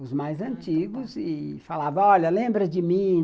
Os mais antigos, ah tá, e falava, olha, lembra de mim?